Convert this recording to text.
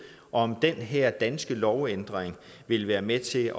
om den her danske lovændring vil være med til